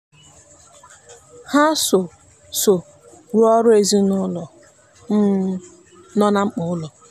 ha so so rụọrọ ezinụụlọ um no na mkpa ụlọ.